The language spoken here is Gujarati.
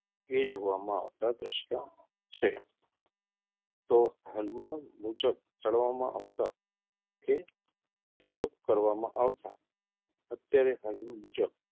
એ જોવામાં આવતાં દ્રશ્યો છે તો હાલમાં મુજબ ચડવામાં આવતાં કે ઉપયોગ કરવામાં આવતાં અત્યારે હાલમાં મુજબ,